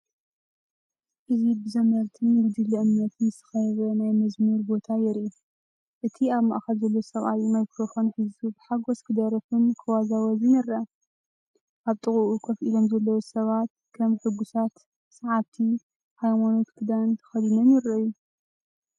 እዚ ብዘመርትን ጉጅለ እምነትን ዝተኸበበ ናይ መዝሙር ቦታ የርኢ። እቲ ኣብ ማእከል ዘሎ ሰብኣይ ማይክሮፎን ሒዙ ብሓጎስ ክደርፍን ክወዛወዝን ይረአ። ኣብ ጥቓኡ ኮፍ ኢሎም ዘለዉ ሰባት፡ ከም ሕጉሳት ሰዓብቲ፡ ናይ ሃይማኖት ክዳን ተኸዲኖም ይረኣዩ።